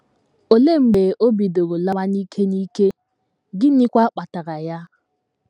Olee mgbe o bidoro lawa n’ike n’ike, gịnịkwa kpatara ya?